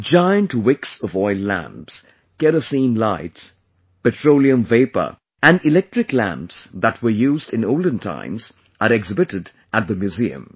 Giant wicks of oil lamps, kerosene lights, petroleum vapour, and electric lamps that were used in olden times are exhibited at the museum